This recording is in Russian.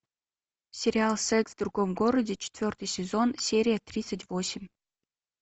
сериал секс в другом городе четвертый сезон серия тридцать восемь